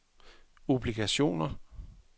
obligationer